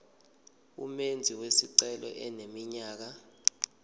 umenzi wesicelo eneminyaka